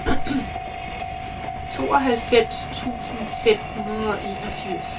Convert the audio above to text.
tooghalvfems tusind fem hundrede og enogfirs